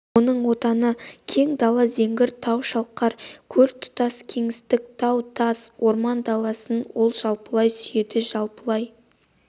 оның отаны кең дала зеңгір тау шалқар көл тұтас кеңістік тау-тас орман-даласын ол жалпылай сүйеді жалпылай